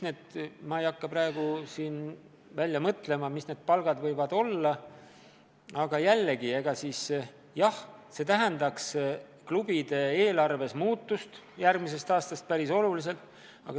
Ma ei hakka siin välja mõtlema, kui suured need palgad võivad olla, aga jah, see tähendaks klubide eelarves alates järgmisest aastast päris olulist muutust.